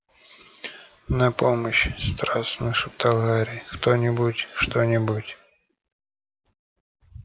на помощь страстно шептал гарри кто-нибудь что-нибудь